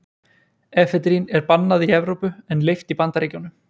efedrín er bannað í evrópu en leyft í bandaríkjunum